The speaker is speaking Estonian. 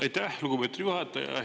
Aitäh, lugupeetud juhataja!